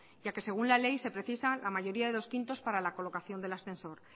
ya que según la ley se precisan la mayoría de dos quintos para la colocación del ascensor